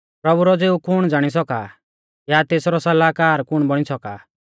प्रभु रौ ज़िऊ कुण ज़ाणी सौका या तेसरौ सलाहकार कुण बौणी सौका आ